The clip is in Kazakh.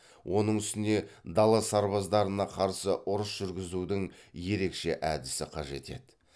оның үстіне дала сарбаздарына қарсы ұрыс жүргізудің ерекше әдісі қажет еді